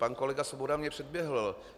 Pan kolega Svoboda mě předběhl.